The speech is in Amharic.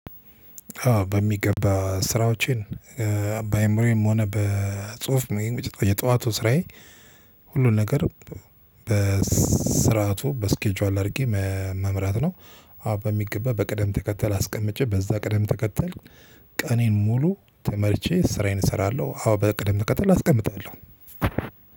በሚገባ ስራዎችን በአእምሮዬም ሆነ በጽሁፍ የጠዋቱ ስራዬ ሁሉን ነገር በስርዓቱ በስኬጁዋል አርጌ መምራት ነው። አዎ በሚገባ በቅደም ተከተል አስቀምጬ በዛ ቅደም ተከተል ቀኔን ሙሉ ተመርቼ ስራዬን እሰራለሁ። አዎ በእቅድም ትከተል አስቀምጣለሁ።